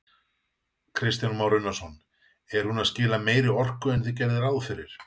Kristján Már Unnarsson: Er hún að skila meiri orku en þið gerðuð ráð fyrir?